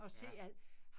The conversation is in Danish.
Ja